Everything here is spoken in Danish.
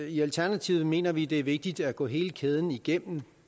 i alternativet mener vi det er vigtigt at gå hele kæden igennem